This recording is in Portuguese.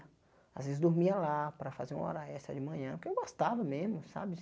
Às vezes dormia lá para fazer uma hora extra de manhã, porque eu gostava mesmo, sabe?